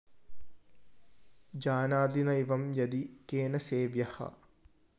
ജാനാതി നൈവം യദി കേന സേവ്യഃ